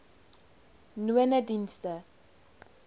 nonedienste